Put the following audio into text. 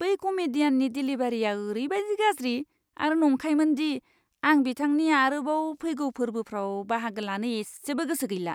बै कमेडियाननि डेलिभारिआ ओरैबायदि गाज्रि आरो नंखायमोन दि आं बिथांनि आरोबाव फैगौ फोर्बोआव बाहागो लानो इसेबो गोसो गैला!